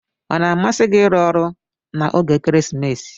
Ona amsi gi irụ ọrụ na oge ekeresimesi?